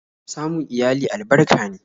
Samun iyali albarka ne